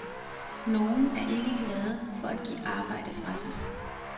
Nogen er ikke glade for at give arbejde fra sig.